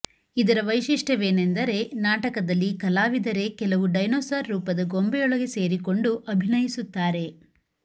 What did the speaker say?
ಇದರ ವೈಶಿಷ್ಟ್ಯವೆನೆಂದರೆ ನಾಟಕದಲ್ಲಿ ಕಲಾವಿದರೇ ಕೆಲವು ಡೈನೋಸಾರ್ ರೂಪದ ಗೊಂಬೆಯೊಳಗೆ ಸೇರಿಕೊಂಡು ಅಭಿನಯಿಸುತ್ತಾರೆ